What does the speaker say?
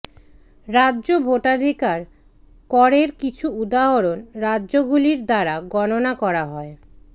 রাজ্য ভোটাধিকার করের কিছু উদাহরণ রাজ্যগুলির দ্বারা গণনা করা হয়